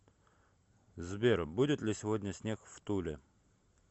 сбер будет ли сегодня снег в туле